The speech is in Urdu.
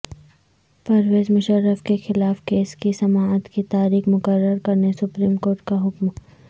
پرویز مشرف کے خلاف کیس کی سماعت کی تاریخ مقرر کرنے سپریم کورٹ کا حکم